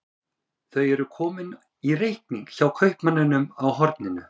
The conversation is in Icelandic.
Þau eru komin í reikning hjá kaupmanninum á horninu.